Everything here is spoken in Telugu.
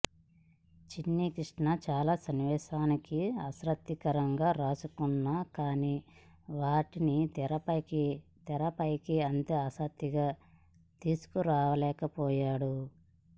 చిన్ని కృష్ణ చాలా సన్నివేశాలని ఆసక్తికరంగా రాసుకున్నాకానీ వాటిని తెరపై అంతే ఆసక్తిగా తీసుకురలేకపోయాడు